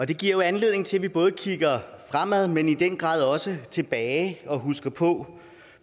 det giver jo anledning til at vi både kigger fremad men i den grad også tilbage og husker på